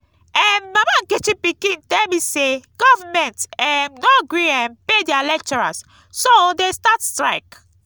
um mama nkechi pikin tell me say government um no gree um pay their lecturers so dey start strike